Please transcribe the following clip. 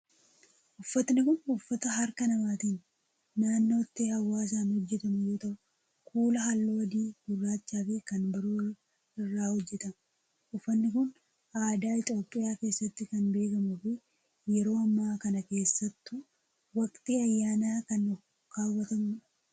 Uffanni kun, uffata harka namaatin naannotti hawaasan hojjatamu yoo ta'u, kuula haalluu adii, gurraacha fi kan biroo irraa hojjatama. Uffanni kun, aadaa Itoophiyaa keessatti kan beekamuu fi yeroo ammaa kana keessattuu waqtii ayyaanaa kan kaawwatamuu dha.